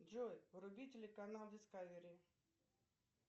джой вруби телеканал дискавери